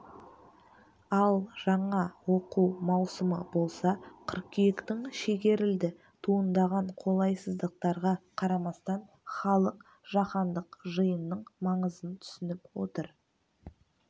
ал жаңа оқу маусымы болса қыркүйектің шегерілді туындаған қолайсыздықтарға қарамастан халық жаһандық жиынның маңызын түсініп отыр